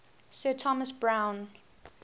sir thomas browne